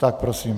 Tak prosím.